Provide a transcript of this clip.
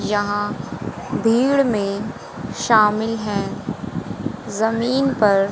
यहां भीड़ में शामिल है जमीन पर--